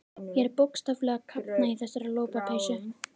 Ég er bókstaflega að kafna í þessari lopapeysu.